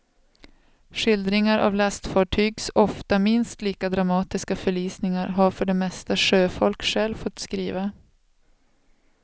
Skildringar av lastfartygs ofta minst lika dramatiska förlisningar har för det mesta sjöfolk själva fått skriva.